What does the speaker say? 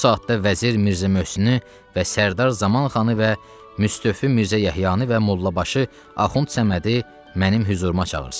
Bu saatda Vəzir Mirzə Möhsünü və Sərdar Zamanxanı və Müstofi Mirzə Yəhyanı və Mollabaşı Axund Səmədi mənim hüzuruma çağırsın.